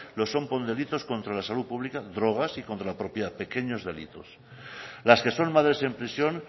lo son por delitos contra la salud pública drogas y contra la propiedad pequeños delitos las que son madres en prisión